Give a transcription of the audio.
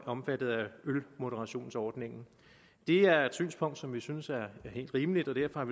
omfattet af ølmoderationsordningen det er et synspunkt som vi synes er helt rimeligt og derfor